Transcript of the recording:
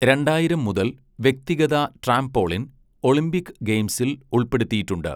രണ്ടായിരം മുതൽ, വ്യക്തിഗത ട്രാംപോളിൻ ഒളിമ്പിക് ഗെയിംസിൽ ഉൾപ്പെടുത്തിയിട്ടുണ്ട്.